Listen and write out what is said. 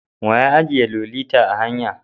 Wa ya ajiye Lolita a hanya?